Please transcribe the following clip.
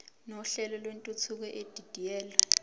nohlelo lwentuthuko edidiyelwe